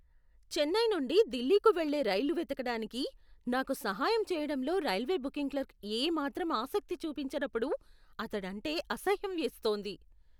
చెన్నై నుండి ఢిల్లీకి వెళ్ళే రైలు వెతకడానికి నాకు సహాయం చేయడంలో రైల్వే బుకింగ్ క్లర్క్ ఏమాత్రం ఆసక్తి చూపించనప్పుడు అతడంటే అసహ్యం వేస్తోంది.